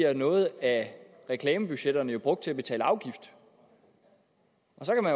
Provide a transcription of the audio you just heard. at noget af reklamebudgetterne jo bliver brugt til at betale afgift